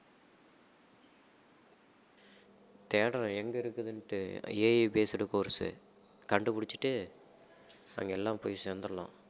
தேடுறேன் எங்க இருக்குதுன்னிட்டு AI based course கண்டுபிடிச்சிட்டு அங்க எல்லாம் போய் சேர்ந்திடலாம்